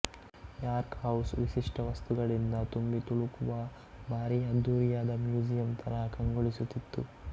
York House ವಿಶಿಷ್ಠ ವಸ್ತುಗಳಿಂದ ತುಂಬಿತುಳುಕುವ ಭಾರಿ ಅದ್ಧೂರಿಯಾದ ಮ್ಯೂಸಿಯಂ ತರಹ ಕಂಗೊಳಿಸುತ್ತಿತ್ತು